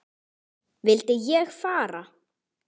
Vildi ég fara?